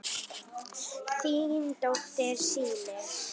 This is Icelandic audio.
Þín dóttir, Signý.